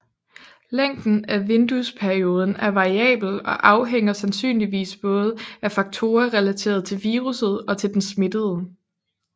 Længden af vinduesperioden er variabel og afhænger sandsynligvis både af faktorer relateret til viruset og til den smittede